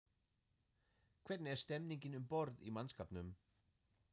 Hvernig er stemningin um borð í mannskapnum?